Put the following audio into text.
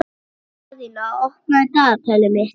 Daðína, opnaðu dagatalið mitt.